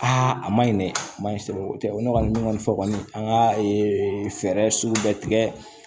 a ma ɲi dɛ a ma ɲi kosɛbɛ o tɛ ko ne kɔni ne kɔni fɔ kɔni an ka fɛɛrɛ sugu bɛɛ tigɛ